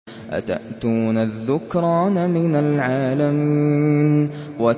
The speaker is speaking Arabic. أَتَأْتُونَ الذُّكْرَانَ مِنَ الْعَالَمِينَ